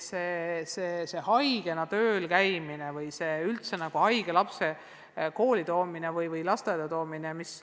–, see haigena töölkäimine või üldse haige lapse kooli või lasteaeda toomine.